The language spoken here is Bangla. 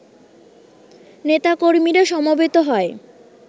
নেতা-কর্মীরা সমবেত হয়